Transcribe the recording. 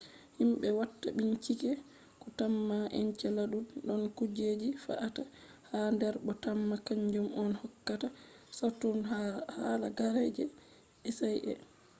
himbe watta binchike do tamma enceladus don kujeji fe’ata ha der bo temma kanjum on hokkata saturn halagare je icy e